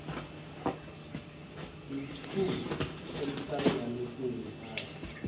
sethu emhlanganiso high